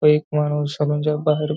तो एक माणूस सलूनच्या बाहेर--